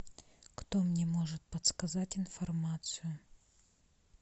кто мне может подсказать информацию